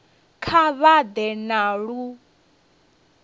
kha vha ḓe na lu